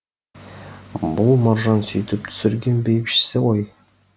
бұл маржан сүйтіп түсірген бәйбішесі ғой